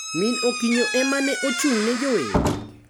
Min Okinyo ema ne ochung` ne jower